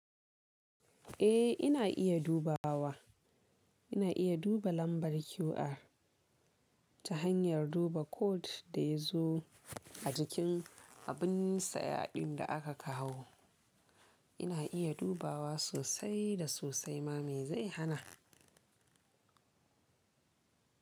Eh ina iya dubawa. Ina iya duba lambar QR ta hanyar duba code da ya zo a jikin abin saya ɗin da aka kawo. Ina iya dubawa sosai da sosai ma me zai hana?